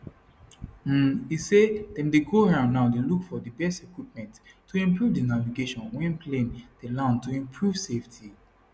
um e say dem dey go round now dey look for di best equipment to improve di navigation wen plane dey land to improve safety